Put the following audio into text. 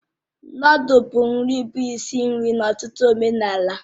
Nụ́dúls bụ nri bụ isi nri n'ọtụtụ omenala